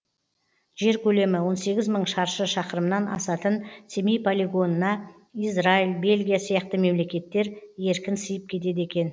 жер көлемі он сегіз мың шаршы шақырымнан асатын семей полигонына израиль бельгия сияқты мемлекеттер еркін сиып кетеді екен